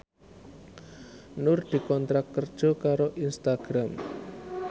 Nur dikontrak kerja karo Instagram